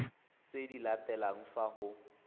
tse di latelang fa go